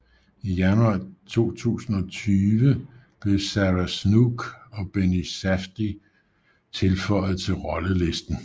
I januar 2020 blev Sarah Snook og Benny Safdie tilføjet til rollelisten